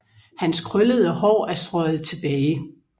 Hans krøllede Haar er strøget tilbage